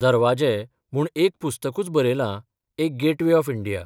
दरवाजे 'म्हूण एक पुस्तकूच बरयलां एक गेटवे ऑफ इंडिया.